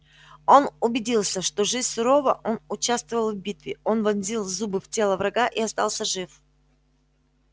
он убедился что жизнь сурова он участвовал в битве он вонзил зубы в тело врага и остался жив